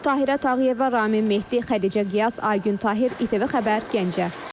Tahirə Tağıyeva, Ramin Mehdi, Xədicə Qiyas, Aygün Tahir, ITV Xəbər, Gəncə.